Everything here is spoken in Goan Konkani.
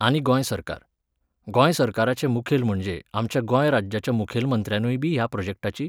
आनी गोंय सरकार. गोंय सरकाराचे मुखेल म्हणजे आमच्या गोंय राज्याच्या मुखेल मंत्र्यानूयबी ह्या प्रॉजॅक्टाची